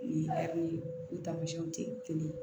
ni tɛ kelen ye